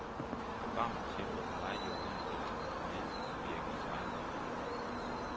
Programmets tempo var meget i overensstemmelse med de medvirkendes egen livsrytme.